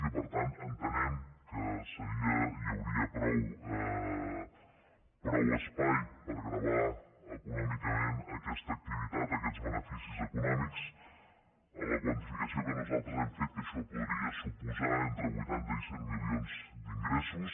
i que per tant entenem que seria i que hi hauria prou espai per gravar econòmicament aquesta activitat aquests beneficis econòmics en la quantificació que nosaltres hem fet que això podria suposar entre vuitanta i cent milions d’ingressos